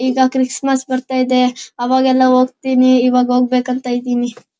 ಈಗ ಕ್ರಿಸ್ತ್ಮಸ್ ಬರ್ತಾ ಇದೆ ಅವಾಗೆಲ್ಲ ಹೋಗತೀನಿ ಈವಾಗ ಹೋಗ್ಬೇಕು ಅಂತ ಇದ್ದೀನಿ.